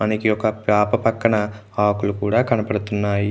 మనకి ఒక ప్యాపాన పక్కన ఆకులు కూడా కనబడుతున్నాయి.